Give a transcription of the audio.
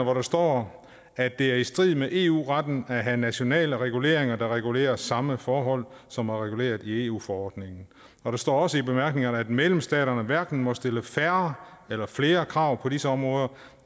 hvor der står at det er i strid med eu retten at have nationale reguleringer der regulerer samme forhold som er reguleret i eu forordningen og der står også i bemærkningerne at medlemsstaterne hverken må stille færre eller flere krav på disse områder